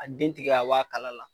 A den tigɛ ka bɔ a kala la.